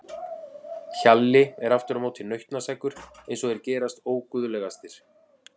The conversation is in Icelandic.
Hjalli er aftur á móti nautnaseggur eins og þeir gerast óguðlegastir.